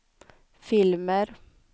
filmer